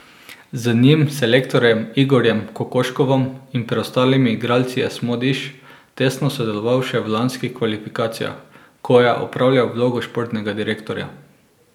Z njim, selektorjem Igorjem Kokoškovom in preostalimi igralci je Smodiš tesno sodeloval še v lanskih kvalifikacijah, ko je opravljal vlogo športnega direktorja.